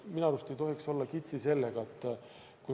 Minu arust ei tohiks siin olla kitsi.